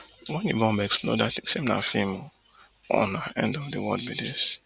wen di bomb explode i tink say na feem or na end of di world be dis